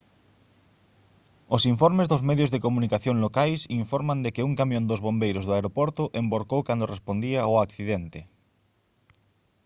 os informes dos medios de comunicación locais informan de que un camión dos bombeiros do aeroporto envorcou cando respondía ao accidente